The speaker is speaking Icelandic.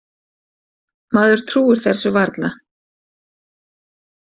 Maður trúir þessu varla.